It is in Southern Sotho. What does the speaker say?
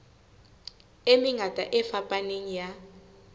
e mengata e fapaneng ya